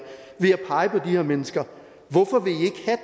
ved at pege på de her mennesker hvorfor vil